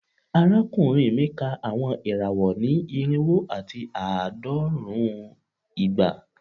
Arakunrin mi ka awọn irawọ ni irinwo ati aadọrun igba